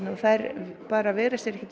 þær veigra sér ekkert